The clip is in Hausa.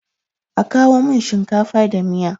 A kawo min shinkafa da miya.